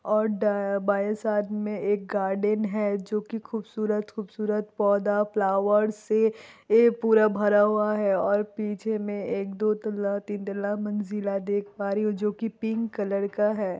और द बाएं साइड में एक गार्डन है जो कि खुबसूरत-खुबसूरत पौधा फ्लावर से ए पूरा भरा हुआ है और पीछे में एक दो तल्ला तीन तल्ला मंजिला देख पा रही हूँ जो कि पिंक कलर का है।